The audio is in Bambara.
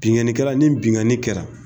Binnkannikɛla ni binnkanni kɛra